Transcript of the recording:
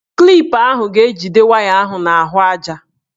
Klip ahụ ga-ejide waya ahụ n'ahụaja.